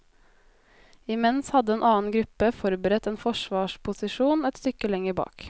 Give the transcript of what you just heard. I mens hadde en annen gruppe forberedt en forsvarsposisjon et stykker lenger bak.